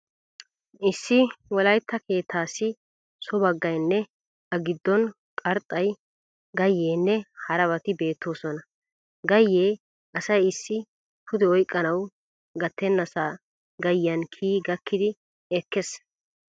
Issi wolaytta keettaassi so baggayinne a giddon qarxxayi, gayyeenne harabati beettoosona. Gayyee asay issi pude oyqqanawu gattennasaa gayyiyan kiyi gakkidi ekkes.